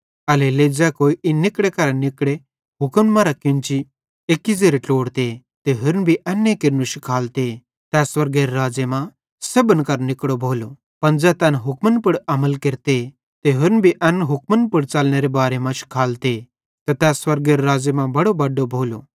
एल्हेरेलेइ ज़ै कोई इन निकड़े करां निकड़े हुक्मन मरां केन्ची एक्की ज़ेरे ट्लोड़ते ते होरन भी एन्ने केरनू शिखालते तै स्वर्गेरे राज़्ज़े मां सेब्भन करां निकड़ो भोलो पन ज़ै तैन हुक्मन पुड़ अमल केरते ते होरन भी एन हुक्मन पुड़ च़लनेरे बारे मां शिखालते त तै स्वर्गेरे राज़्ज़े मां बड्डो भोलो